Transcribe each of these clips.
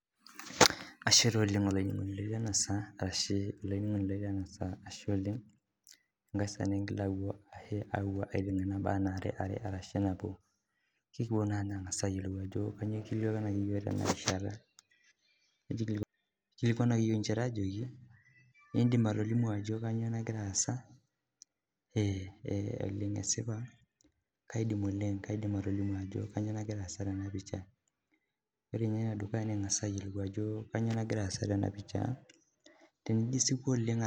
Kaidim atolimu Ajo kainyio nagira asaa Tena pisha tenijo asipu oleng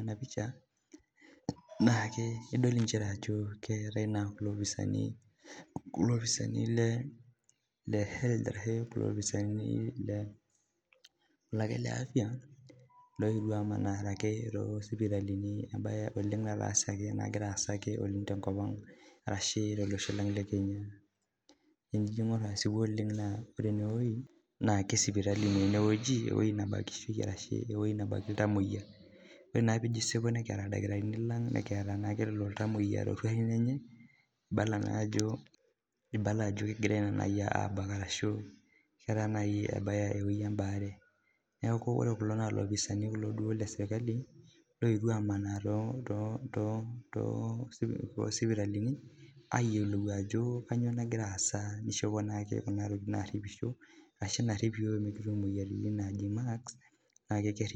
ena pisha nidol njere Ajo keetae elopisani lee health ashu kulo opisani lee afya loyetuo amanaa akeyie too sipitalini mbae nagira asaa tenkop ang ashu tolosho Lang lee Kenya amu tenijo aing'or ene naa sipitali ewueji nebakieki ilntamuoyia ore naa pijo asipu kiata ildakitarini lang nikiata ilntamuoyia to ruatin enye kibala Ajo kegirai abaak ashu ewueji ebaare neeku ore kulo naa loopisani kulo lee sirkali looyetuo amanaa too sipitalini ayiolou Ajo kainyio naagira asaa nishopote naa Kuna tokitin naripisho ashu Kuna tokitin narip iyiok pee Mikitum emoyiaritin najii mask